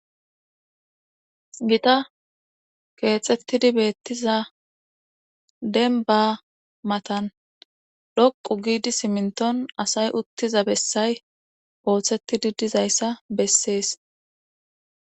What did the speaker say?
Gita keexettidi beettiza dembbaa matan dhoqqu giidi siminttn asay utttiza bessay ooettidi dizayssa bessees.